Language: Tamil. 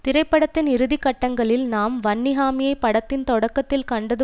திரைப்படத்தின் இறுதி கட்டங்களில் நாம் வன்னிஹாமியை படத்தின் தொடக்கத்தில் கண்டது